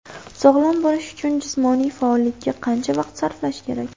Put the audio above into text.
Sog‘lom bo‘lish uchun jismoniy faollikka qancha vaqt sarflash kerak?.